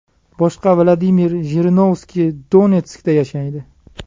Boshqa Vladimir Jirinovskiy Donetskda yashaydi.